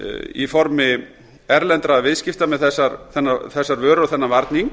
í formi erlendra viðskipta með þessar vörur og þennan varning